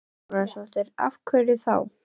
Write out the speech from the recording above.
Hrund Þórsdóttir: Af hverju þá?